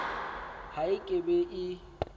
ha e ke be e